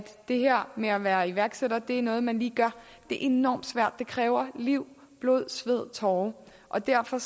det med at være iværksætter er noget man lige gør det er enormt svært og kræver hele liv blod sved og tårer og derfor